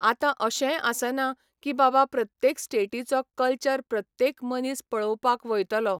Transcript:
आतां अशेंय आसना की बाबा प्रत्येक स्टेटीचो कल्चर प्रत्येक मनीस पळोवपाक वयतलो.